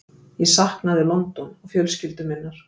Ég saknaði London og fjölskyldu minnar.